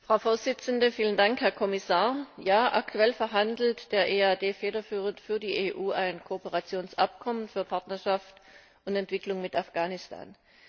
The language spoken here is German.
Frau Präsidentin! Vielen Dank, Herr Kommissar! Ja, aktuell verhandelt der EAD federführend für die EU ein Kooperationsabkommen für Partnerschaft und Entwicklung mit Afghanistan.